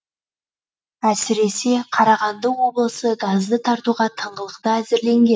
әсіресе қарағанды облысы газды тартуға тыңғылықты әзірленген